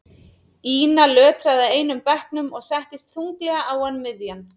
Ína lötraði að einum bekknum og settist þunglega á hann miðjan.